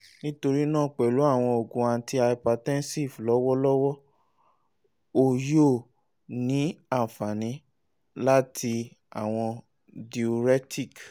nitorina pẹlu awọn oogun antihypertensive lọwọlọwọ o yoo ni anfani lati awọn diuretics